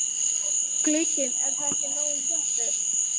Glugginn er þá ekki nógu þéttur.